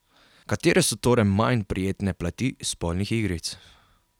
Katere so torej manj prijetne plati spolnih igric?